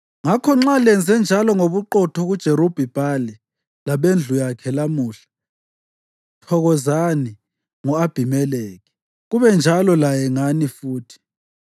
ngakho nxa lenzenjalo ngobuqotho kuJerubhi-Bhali labendlu yakhe lamuhla, thokozani ngo-Abhimelekhi, kube njalo laye ngani futhi!